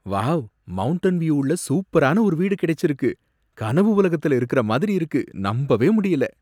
Wow! Mountain view உள்ள சூப்பரான ஒரு வீடு கிடைச்சிருக்கு. கனவு உலகத்துல இருக்கிற மாதிரி இருக்கு. நம்பவே முடியல!